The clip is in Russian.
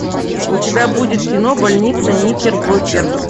у тебя будет кино больница никербокер